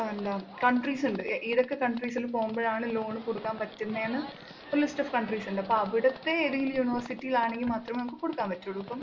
ആഹ് എന്താ countries ഉണ്ട് ഏതൊക്കെ countries ല്‍ പോകുമ്പോഴാണ് loan കൊടുക്കാന്‍ പറ്റുന്നെന്ന് ഒരു list of countries ഉണ്ട്. അപ്പൊ അവിടത്തെ ഏതെങ്കിലും university യിലാണെങ്കില്‍ മാത്രമേ നമുക്ക് കൊടുക്കാന്‍ പറ്റുള്ളൂ. ഇപ്പം